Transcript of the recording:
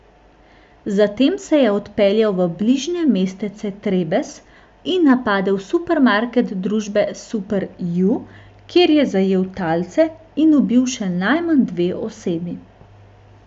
Zatem se je odpeljal v bližnje mestece Trebes in napadel supermarket družbe Super U, kjer je zajel talce in ubil še najmanj dve osebi.